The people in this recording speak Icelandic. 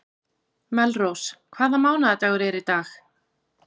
Melrós, hvaða mánaðardagur er í dag?